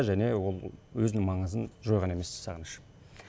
және ол өзінің маңызын жойған емес сағыныш